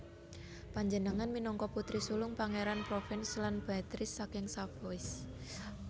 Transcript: Panjenengane minangka putri sulung Pangeran Provence lan Béatrice saking Savoie